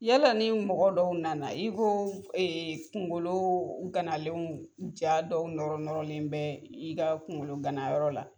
Yala ni mɔgɔ dɔw nana i b'o kunkolo ganalenw jaw dɔw nɔrɔnɔrɔlen bɛ i ka kunkolo ganayɔrɔ la